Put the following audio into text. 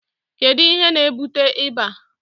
kedu ihe na-ebute ịba?